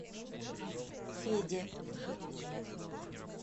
феде